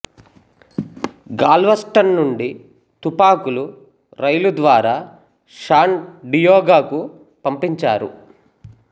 Galveston నుండి తుపాకులు రైలు ద్వారా శాన్ డియాగోకు పంపించారు